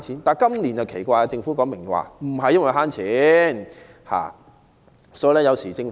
可是，今年很奇怪，政府表明不是為節省開支。